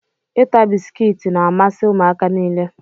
Ịta bisikiiti n'amasi ụmụaka nile.